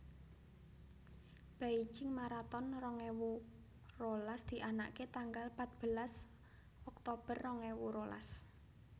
Beijing Maraton rong ewu rolas dianake tanggal patbelas Oktober rong ewu rolas